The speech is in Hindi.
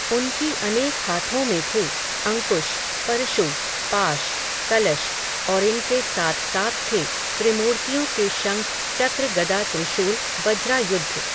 उनकी अनेक हाथों में थे, अंकुश, परशु, पाश, कलश, और इनके साथ साथ थे, त्रिमूर्तियों के शंख चक्र गदा त्रिशूल वज्रायुध